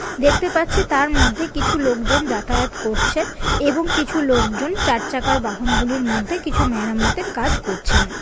দেখতে পাচ্ছি তার মধ্যে কিছু লোকজন যাতায়াত করছে এবং কিছু লোকজন চার চাকার বাহন গুলির মধ্যে কিছু মেরামতের কাজ করছেন।